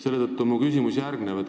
Seetõttu on minu küsimus järgmine.